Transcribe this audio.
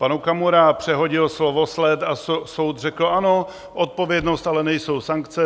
Pak Okamura přehodil slovosled a soud řekl: Ano, odpovědnost ale nejsou sankce.